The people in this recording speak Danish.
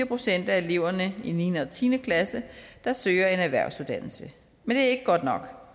procent af eleverne i niende og tiende klasse der søger en erhvervsuddannelse men det er ikke godt nok